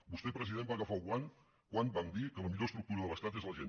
vostè president va agafar el guant quan vam dir que la millor estructura de l’estat és la gent